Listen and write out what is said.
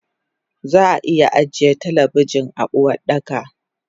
Zaa iya ajiye talabijin a Uwardaka